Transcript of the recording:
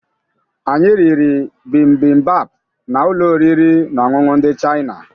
Anyị riri bimbimbap na ụlọ oriri na ọṅụṅụ ndị Chaịna